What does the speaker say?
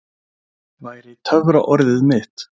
væri töfraorðið mitt.